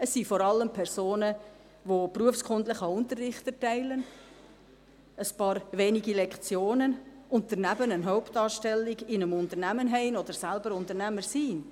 Es sind vor allem Personen, die ein paar wenige Lektionen berufskundlichen Unterricht erteilen und daneben eine Hauptanstellung in einem Unternehmen haben oder selber Unternehmer sind.